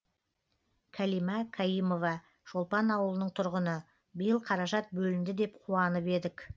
кәлима каимова шолпан ауылының тұрғыны биыл қаражат бөлінді деп қуанып едік